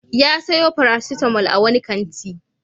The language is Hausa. Ya sayo paracetamol a wani kanti.